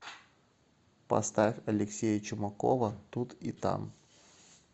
поставь алексея чумакова тут и там